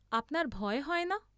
আপনার ভয় হয় না?